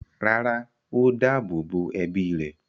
rárá, ó dáàbò bo ẹbí rẹ̀.